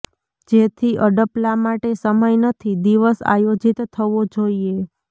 જેથી અડપલાં માટે સમય નથી દિવસ આયોજિત થવો જોઈએ